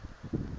sulumane